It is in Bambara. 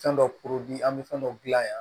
Fɛn dɔ an bɛ fɛn dɔw dilan yan